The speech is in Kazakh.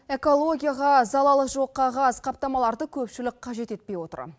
экологияға залалы жоқ қағаз қаптамаларды көпшілік қажет етпей отыр